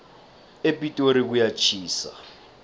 epitori kuyatjhisa